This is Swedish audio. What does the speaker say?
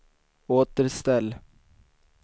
återställ